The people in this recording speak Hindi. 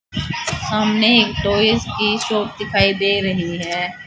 सामने एक टॉयज की शॉप दिखाई दे रही है।